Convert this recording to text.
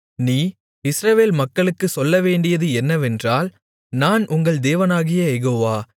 நீ இஸ்ரவேல் மக்களுக்குச் சொல்லவேண்டியது என்னவென்றால் நான் உங்கள் தேவனாகிய யெகோவா